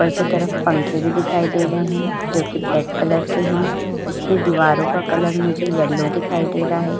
ऊपर की तरफ पंखे भी दिखाई दे रहे हैं जोकि ब्लैक कलर के हैं। इसमें दीवारों में कलर मुझे येलो दिखाई दे रहा है।